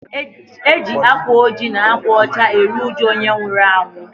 E ji akwa ojii na akwa ọcha eri ụjụ onye nwụrụ anwụ